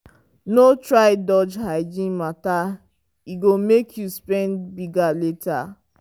no try dodge hygiene matter e go make you spend big later.